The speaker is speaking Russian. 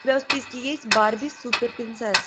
у тебя в списке есть барби супер принцесса